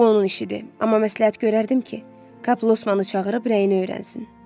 Bu onun işidir, amma məsləhət görərdim ki, Kap Losmanı çağırıb rəyini öyrənsin.